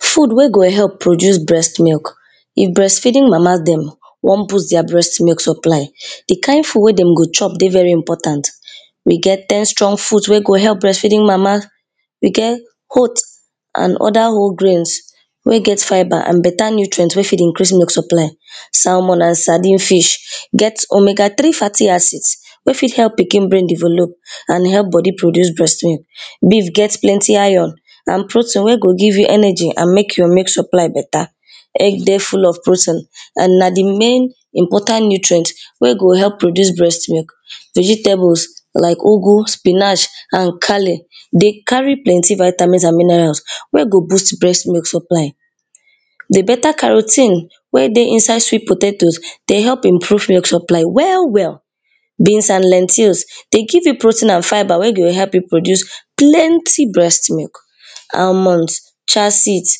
Food wey go help boost breast milk if breast feeding mama dem wan boost dia breast milk supply di kind food wey dem go chop dey very important. we get ten strong fruit wey go help breast feeding mama, we get oat and oda whole grains wey get feber and better milk nutrient wey fit increase milk supply, cermon and sardin fish get omega three faty acid wey fit help pikin brain develop and help body produce breast milk beaf get plenty iron and protein wey go give you energy and make your milk supply better, egg dey full of protein and na di main important nutrient wey go help produce breast milk, vegetables like igwu, spinach and cale dey carry plenty vitamins and minerals wey go boost breast milk supply, di better caro ten e wey dey inside sweat potatoes dey help improve milk supply well well, beans and lectins dey give you protein and fiber wey go dey help you produce plenty breast milk, almonds, traseeds,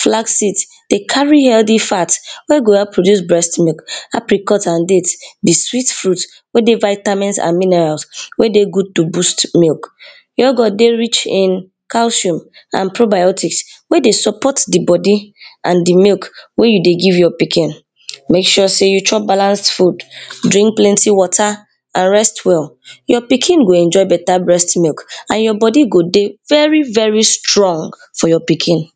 flaseeds dey carry healthy fat wey go produce breast milk happy cut and diet di sweet fruit wey get vitamins and minerals wey dey good to boost milk, yogurt dey rich in casium and prebiotic wey dey support di body and di milk wey you dey give your pikin. make sure sey you chop balance food, drink plenty water and rest well, your pikin go enjoy better brest milk and your body go dey very very strong for your pikin.